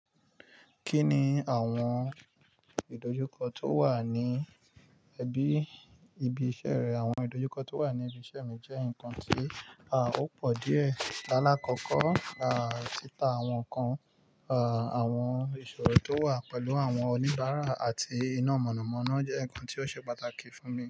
Kí ni àwọn ìdojúkọ tó wà ní ẹbí ibi iṣẹ́ rẹ? Àwọn ìdojúkọ tó wà ní ibi iṣẹ́ mi jẹ́ nǹkan tí a ò pọ̀ díẹ̀. Lála kọ́kọ́, à tì ta àwọn nǹkan, à àwọn ìṣòro tó wà pẹ̀lú àwọn oníbàárà àti iná mọ̀nàmọ́ná jẹ́ nǹkan tí ó ṣe pàtàkì fún mi.